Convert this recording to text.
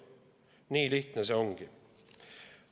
Nii lihtne see ongi.